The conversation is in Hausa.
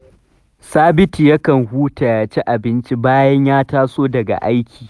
Sabitu yakan ci abinci ya huta bayan ya taso daga aiki